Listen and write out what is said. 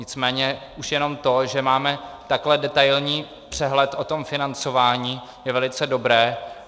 Nicméně už jenom to, že máme takový detailní přehled o tom financování, je velice dobré.